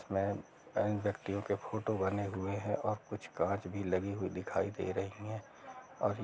इसमें कई व्यक्तियों के फोटो भी बने हुए है और कुछ कांच भी लगी हुई दिखाई दे रही हैं और--